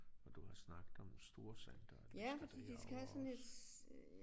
Og du har snakket om storcenteret de skal derover også